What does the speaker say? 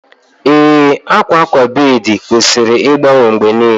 Ee, akwa akwa bed kwesịrị ịgbanwe mgbe niile